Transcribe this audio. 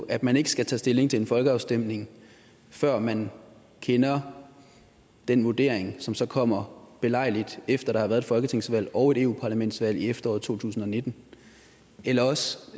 at man ikke skal tage stilling til en folkeafstemning før man kender den vurdering som så kommer belejligt efter der har været et folketingsvalg og et eu parlamentsvalg i efteråret to tusind og nitten eller også